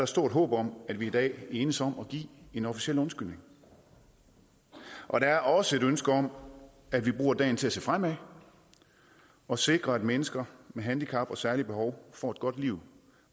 stort håb om at vi i dag enes om at give en officiel undskyldning og der er også et ønske om at vi bruger dagen til at se fremad og sikre at mennesker med handicap og særlige behov får et godt liv